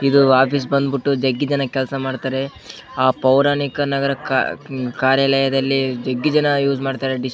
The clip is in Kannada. ಇದು ಆಫೀಸ್ ಬಂದ್ಬಿಟ್ಟು ಜಗ್ಗಿ ಜನ ಕೆಲಸ ಮಾಡ್ತಾರೆ ಆ ಪೌರಾಣಿಕ ನಗರ ಕಾ ಕಾರ್ಯಾಲಯದಲ್ಲಿ ಜಗ್ಗಿ ಜನ ಯೂಸ್ ಮಾಡ್ತಾರೆ ಡಿಸ್ --